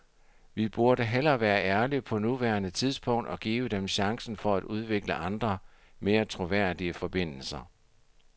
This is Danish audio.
Vi burde hellere være ærlige på nuværende tidspunkt og give dem chancen for at udvikle andre, mere troværdige forbindelser.